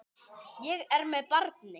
Ég er með barni.